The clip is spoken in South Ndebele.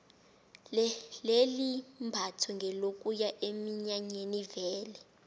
leli imbatho ngelokuya eminyanyeni vele